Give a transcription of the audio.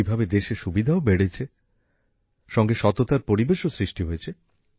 এইভাবে দেশে সুবিধাও বেড়েছে সঙ্গে সততার পরিবেশও সৃষ্টি হয়েছে